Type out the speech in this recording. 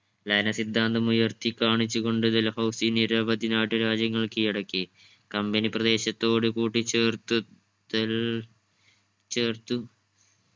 ലയന സിദ്ധാന്തം ഉയർത്തി കാണിച്ചു കൊണ്ട് ഡൽഹൗസി നിരവധി നാട്ടുരാജ്യങ്ങൾ കീഴടക്കി. company പ്രദേശത്തോട്ട് കൂട്ടിച്ചേർത്ത് ചേർത്ത്